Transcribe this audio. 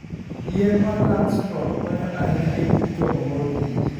Yien mar Langstroth konyo ahinya e tij choko mor kich.